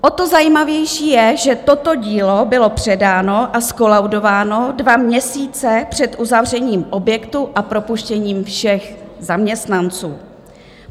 O to zajímavější je, že toto dílo bylo předáno a zkolaudováno dva měsíce před uzavřením objektu a propuštěním všech zaměstnanců.